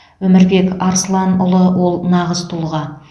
өмірбек арсыланұлы ол нағыз тұлға